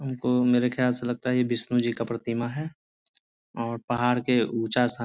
हमको मेरे ख्याल से लगता है ये विष्णु जी का प्रतिमा है और पहाड़ के ऊँचा स्थान --